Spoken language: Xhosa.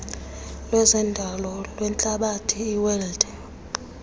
lwezendalo lwehlabathi iwed